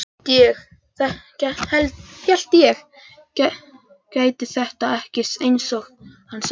Hélt ég gæti þetta ekki, einsog hann sagði.